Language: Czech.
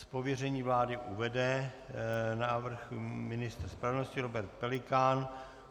Z pověření vlády uvede návrh ministr spravedlnosti Robert Pelikán.